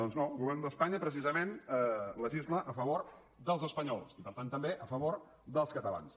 doncs no el govern d’espanya precisament legisla a favor dels espanyols i per tant també a favor dels catalans